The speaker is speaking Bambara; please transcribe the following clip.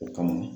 O kama